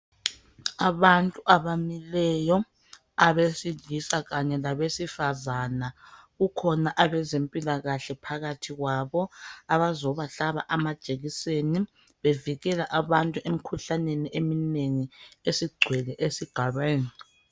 Abantu abamileyo abesilisa kanye labesifazana kukhona abezempilakahle phakathi kwabo abazobahlaba amajekiseni bevikela abantu emkhuhlaneni eminengi esigcwele esigabeni.